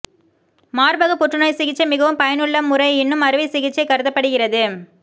மார்பக புற்றுநோய் சிகிச்சை மிகவும் பயனுள்ள முறை இன்னும் அறுவை சிகிச்சை கருதப்படுகிறது